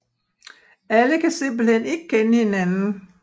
Alle kan simpelthen ikke kende hinanden